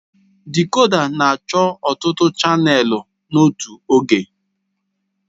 Dịkòdà na-achọ ọtụtụ chanèlụ n'otu oge